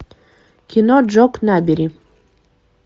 кино джок набери